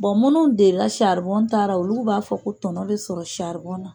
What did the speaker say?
minnu delila saribɔn taa la, olu b'a fɔ ko tɔnɔ bɛ sɔrɔ saribɔn na